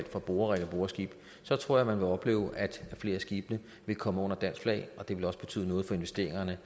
for borerigge og boreskibe så tror jeg man ville opleve at flere af skibene ville komme under dansk flag og det ville også betyde noget for investeringerne